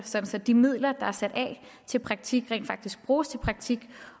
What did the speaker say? så de midler der er sat af til praktik rent faktisk bruges til praktik